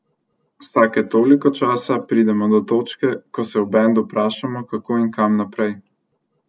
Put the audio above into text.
Vsake toliko časa pridemo do točke, ko se v bendu vprašamo, kako in kam naprej.